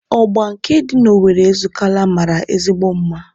Ọgba nke dị n'Owere Ezukalla mara ezigbo mma